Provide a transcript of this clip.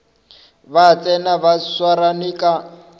ba tsena ba swarane ka